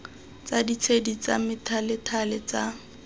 tsa ditshedi tsa methalethale tsa